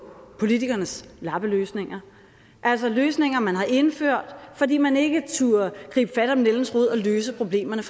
politikernes lappeløsninger altså løsninger man har indført fordi man ikke turde gribe fat om nældens rod og løse problemerne